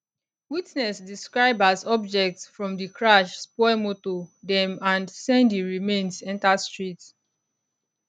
witness describe as objects from di crash spoil motor dem and send di remains enta streets